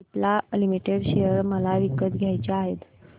Cipla limited share मला विकत घ्यायचे आहेत